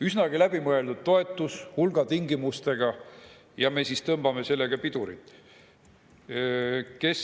Üsnagi läbimõeldud toetus hulga tingimustega – ja meie tõmbame sellele pidurit!